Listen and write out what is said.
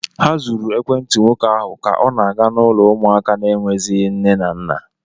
Ha zuru ekwentị nwoke ahụ ka ọ na-aga n'ụlọ ụmụaka na-enweghịzị nne na nna.